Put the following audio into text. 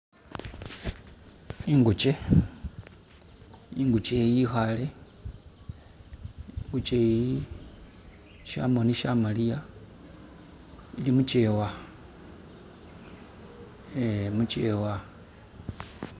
Ingukye, ingukye eyi yikhale ingukye eyi shamoni shamaliya ili mukyewa eh mukyewa